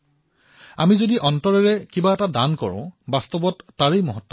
আমি হৃদয়েৰে যি দান দিও বাস্তৱতে তাৰেই মহত্ব অধিক হয়